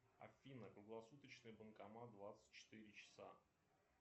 афина круглосуточный банкомат двадцать четыре часа